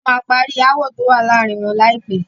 Wọ́n máa parí aáwọ̀ tó wá láàárín wọn láìpé.